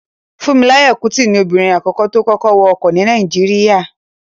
Fúnmiláyọ̀ Kútì ni obìnrin àkọ́kọ́ tó kọ́kọ́ wa ọkọ̀ ní Nàìjíríyà